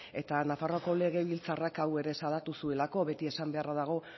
eta nafarroako legebiltzarrak hau ere salatu zuelako beti esan beharra dago